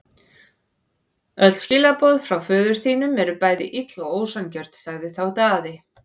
Hér að neðan er hægt að sjá alla leiki þriðju umferðar.